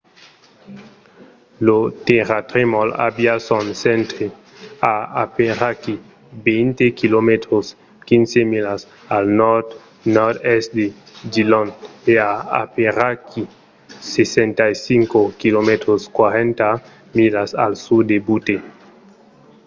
lo tèrratremol aviá son centre a aperaquí 20 km 15 milas al nòrd-nòrd-èst de dillon e a aperaquí 65 km 40 milas al sud de butte